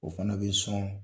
O fana bɛ sɔn